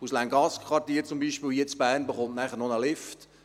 Das Länggassquartier in Bern erhält bei der Welle vorne zusätzlich einen Lift.